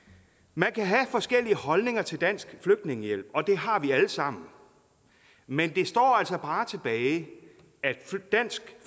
man kan have forskellige holdninger til dansk flygtningehjælp og det har vi alle sammen men det står altså bare tilbage at dansk